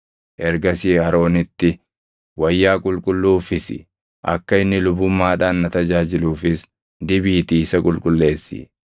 Ergasii Aroonitti wayyaa qulqulluu uffisi; akka inni lubummaadhaan na tajaajiluufis dibiitii isa qulqulleessi.